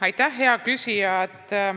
Aitäh, hea küsija!